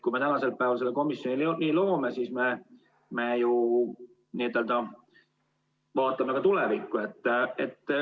Kui me täna selle komisjoni loome, siis me ju vaatame ka tulevikku.